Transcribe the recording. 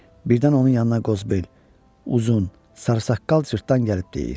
Birdən onun yanına Qozbeyl, uzun, sarı saqqal cırtdan gəlib deyir.